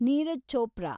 Neeraj Chopra